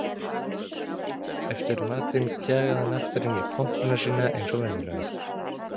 Eftir matinn kjagaði hann aftur inn í kompuna sína eins og venjulega.